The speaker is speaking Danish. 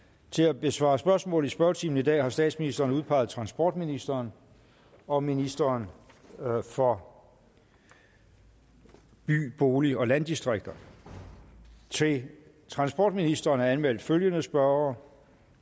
til at besvare spørgsmål i spørgetimen i dag har statsministeren udpeget transportministeren og ministeren for by bolig og landdistrikter til transportministeren er anmeldt følgende spørgere